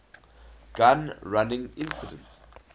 gun running incident